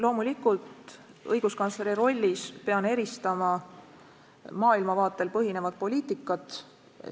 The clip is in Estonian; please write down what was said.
Loomulikult pean ma õiguskantsleri rollis eristama maailmavaatel põhinevat poliitikat.